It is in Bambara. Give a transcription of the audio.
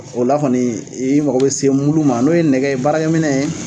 O la kɔni i mago bɛ se mulu ma n'o ye nɛgɛ ye baarakɛ minɛn.